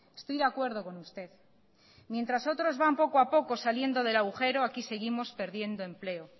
estoy de acuerdo con usted mientras otros van poco a poco saliendo del agujero aquí seguimos perdiendo empleo